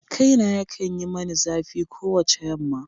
Kaina yakan yi mani zafi kowace yamma.